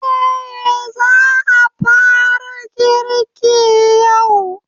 Eh, za a fara girki yau.